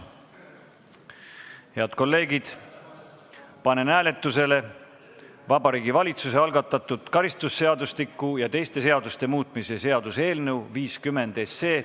Head kolleegid, panen hääletusele Vabariigi Valitsuse algatatud karistusseadustiku ja teiste seaduste muutmise seaduse eelnõu 50.